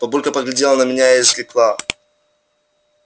бабулька поглядела на меня и изрекла